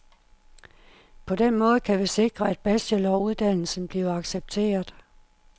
På den måde kan vi sikre, at bacheloruddannelsen bliver accepteret.